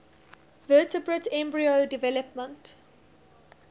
vertebrate embryo development